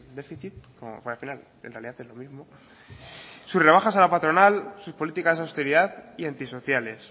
déficit sus rebajas a la patronal sus políticas de austeridad y antisociales